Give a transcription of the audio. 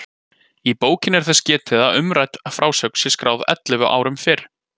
Í bókinni er þess getið að umrædd frásögn sé skráð ellefu árum fyrr.